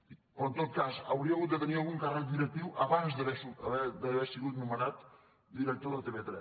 dic però en tot cas hauria d’haver tingut algun càrrec directiu abans d’haver sigut nomenat director de tv3